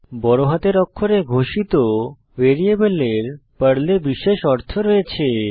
বড়হাতের অক্ষরে ঘোষিত ভ্যারিয়েবলের পর্লে বিশেষ অর্থ রয়েছে